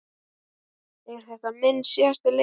Er þetta minn síðasti leikur?